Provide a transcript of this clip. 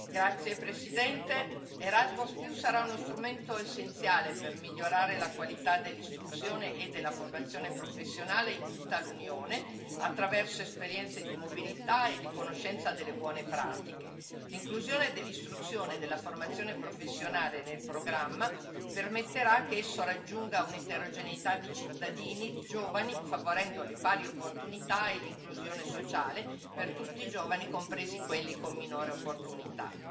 Signora Presidente, onorevoli colleghi, l'Erasmus sarà uno strumento essenziale per migliorare la qualità dell'istruzione e della formazione professionale in tutta l'Unione, attraverso esperienze di mobilità e di conoscenza delle buone pratiche. L'inclusione dell'istruzione e della formazione professionale nel programma permetterà che esso raggiunga un'eterogeneità di cittadini e di giovani, favorendo le pari opportunità e l'inclusione sociale per tutti i giovani, compresi quelli con minori opportunità.